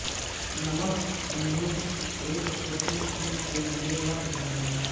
نمک انہیں ایک چھوٹی سی کے لئے مت بھولنا